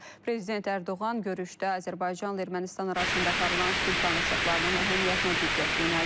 Prezident Ərdoğan görüşdə Azərbaycanla Ermənistan arasında aparılan sülh danışıqlarının əhəmiyyətinə diqqət yönəldib.